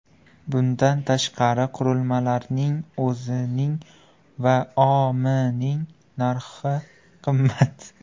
Bundan tashqari, qurilmalarning o‘zining va O&M’ning narxi qimmat.